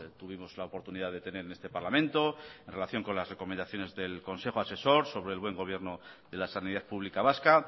tuvimos la oportunidad de tener en este parlamento en relación con las recomendaciones del consejo asesor sobre el buen gobierno de la sanidad pública vasca